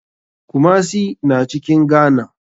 Kumasi na cikin ghana.